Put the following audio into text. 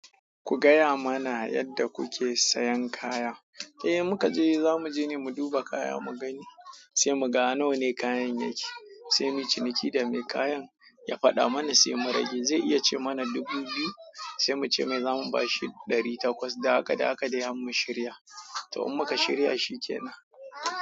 Ku gaya mana yadda kuke sayan kaya. Eh muka je zamu je ne mu duba kaya mu gani, sai mu ga nawa ne kayan yake, sai muyu ciniki da mai kayan ya faɗa mana sai mu rage. Zai iya ce mana dubu biyu, sai mu ce mai za mu bashi ɗari takwas. Da haka, da haka dai har mu shirya. To, in mu ka shirya shi kenan.